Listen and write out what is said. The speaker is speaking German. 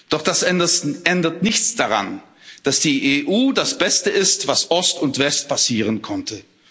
Doch das ändert nichts daran, dass die EU das Beste ist, was Ost und West passieren konnte.